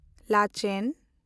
ᱞᱟᱪᱮᱱ